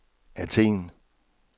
Athen